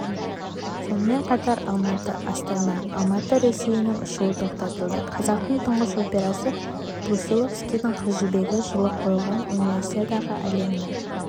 сонымен қатар алматы-астана-алматы рейсінің ұшуы тоқтатылды қазақтың тұңғыш операсы брусиловскийдің қыз жібегі жылы қойылған универисадаға әлемнің